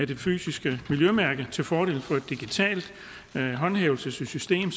det fysiske miljømærke til fordel for et digitalt håndhævelsessystem